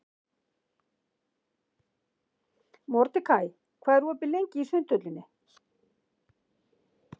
Mordekaí, hvað er opið lengi í Sundhöllinni?